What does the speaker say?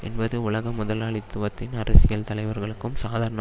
என்பது உலக முதலாளித்துவத்தின் அரசியல் தலைவர்களுக்கும் சாதாரண